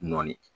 Nɔɔni